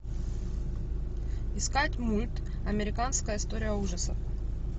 искать мульт американская история ужасов